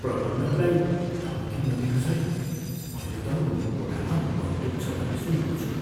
प्रबन्धकलाई धम्की नदिनुहोस् है। मैले त उनको कोठामा बन्दुक छ भन्ने सुनेको छु।